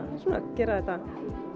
gera þetta